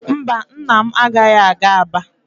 Mba, nna m agaghị aga Aba.